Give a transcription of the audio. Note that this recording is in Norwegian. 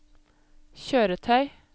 kjøretøy